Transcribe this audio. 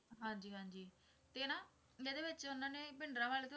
ਹਾਂਜੀ ਹਾਂਜੀ ਤੇ ਨਾ ਇਹਦੇ ਵਿੱਚ ਉਨ੍ਹਾਂ ਨੇ ਭਿੰਡਰਾਂਵਾਲੇ ਤੋਂ